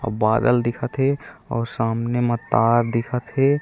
अऊ बादल दिखत हे अऊ सामने म तार दिखत हे।